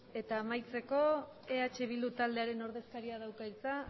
eta amaitzeko eh bildu taldearen ordezkariak dauka hitza